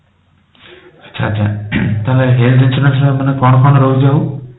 ଆଚ୍ଛା ଆଚ୍ଛା ତାହେଲେ health insurance ର ମାନେ କଣ କଣ ରହୁଛି ଆଉ